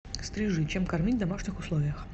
стрижи чем кормить в домашних условиях